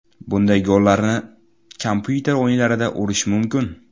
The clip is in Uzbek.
Bunday gollarni kompyuter o‘yinlarida urish mumkin.